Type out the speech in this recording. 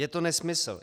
Je to nesmysl.